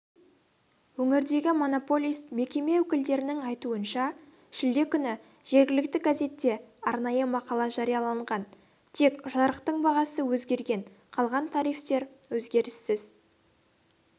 өңірдегі монополист мекеме өкілдерінің айтуынша шілде күні жергілікті газетте арнайы мақала жарияланған тек жарықтың бағасы өзгерген қалған тарифтер өзгеріссіз